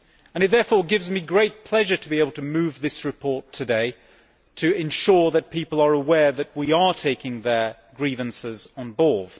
It therefore gives me great pleasure to be able to move this report today to ensure that people are aware that we are taking their grievances on board.